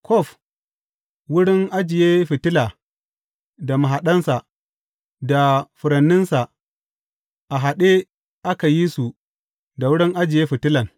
Kwaf wurin ajiye fitila da mahaɗansa, da furanninsa, a haɗe aka yi su da wurin ajiye fitilan.